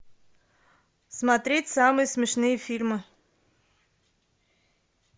смотреть самые смешные фильмы